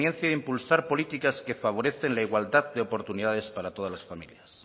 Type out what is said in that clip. de impulsar políticas que favorecen la igualdad de oportunidades para todas las familias